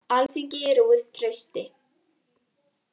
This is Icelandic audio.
Alþingi rúið trausti